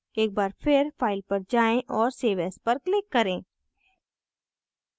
एक बार फिर file पर जाएँ और save as पर click करें